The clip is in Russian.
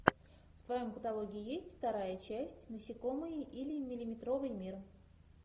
в твоем каталоге есть вторая часть насекомые или миллиметровый мир